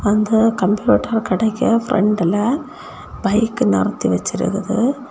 அந்த கம்ப்யூட்டர் கடைக்கு பிராண்ட்ல பைக் நிறுத்தி வெச்சியிருக்குது.